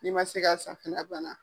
N'i ma se ka san a banna.